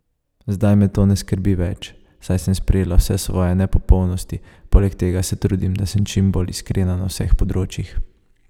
Zdaj me to ne skrbi več, saj sem sprejela vse svoje nepopolnosti, poleg tega se trudim, da sem čim bolj iskrena na vseh področjih.